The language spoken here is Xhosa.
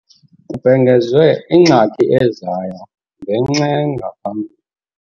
Kubhengezwe ingxaki ezayo ngenx' engaphambili.